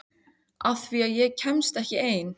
Af því að ég kemst ekki ein.